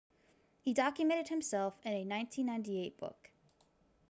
he documented himself in a 1998 book